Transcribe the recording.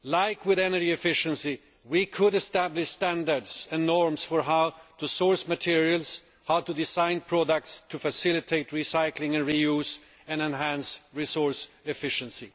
As with energy efficiency, we could establish standards and norms for how to source materials, how to design products to facilitate recycling and reuse and enhance resource efficiency.